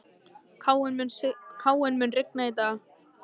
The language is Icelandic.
Káinn, mun rigna í dag?